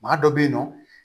Maa dɔ bɛ yen nɔ